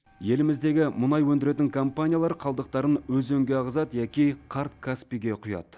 еліміздегі мұнай өндіретін компаниялар қалдықтарын өзенге ағызады яки қарт каспийге құяды